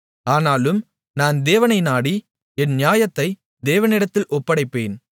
ஆனாலும் நான் தேவனை நாடி என் நியாயத்தை தேவனிடத்தில் ஒப்படைப்பேன்